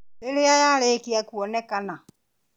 Rĩrĩa yarĩkia kuonekana